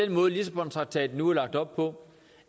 den måde lissabontraktaten nu er lagt op på